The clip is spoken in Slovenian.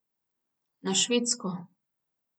Na Švedsko.